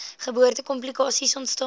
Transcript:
geboorte komplikasies ontstaan